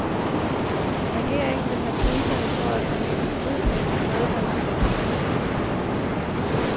Regeringen vil have priserne for at bruge hybridnet og bredbåndsnet sænket.